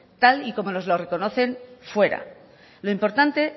tal y como nos lo reconocen fuera lo importante